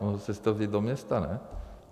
Mohl jste si to vzít do města, ne?